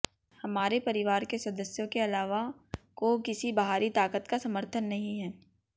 हमारे परिवार के सदस्यों के अलावा को किसी बाहरी ताकत का समर्थन नहीं है